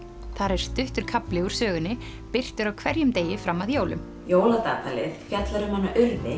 þar er stuttur kafli úr sögunni birtur á hverjum degi fram að jólum jóladagatalið fjallar um Urði